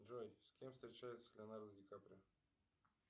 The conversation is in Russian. джой с кем встречается леонардо дикаприо